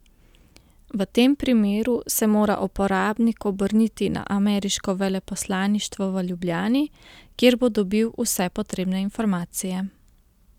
V tem primeru se mora uporabnik obrniti na ameriško veleposlaništvo v Ljubljani, kjer bo dobil vse potrebne informacije.